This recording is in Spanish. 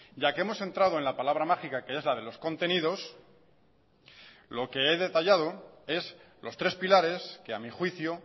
ya que hemos entrado en la palabra mágica que es la de los contenidos lo que he detallado es los tres pilares que a mi juicio